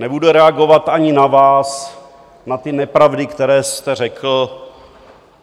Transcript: Nebude reagovat ani na vás, na ty nepravdy, které jste řekl.